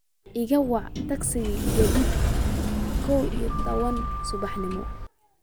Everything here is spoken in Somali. iga wac tagsi gegida kow iyo tawan subaxnimo